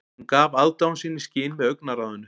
Hún gaf aðdáun sína í skyn með augnaráðinu